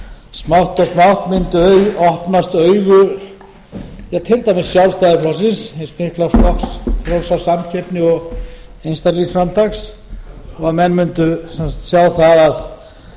smátt og smátt mundu opnast augu til dæmis sjálfstæðisflokksins hins mikla flokks frjálsrar samkeppni og einstaklingsframtaks og menn mundu sjá að